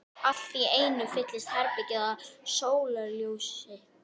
Allt í einu fyllist herbergið af sólarljósi.